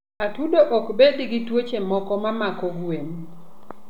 Atudo ok bed gi tuoche moko ma mako gwen.